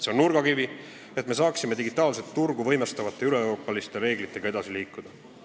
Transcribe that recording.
See on nurgakivi, et me saaksime digitaalset turgu võimestavate üle-euroopaliste reeglitega edasi liikuda.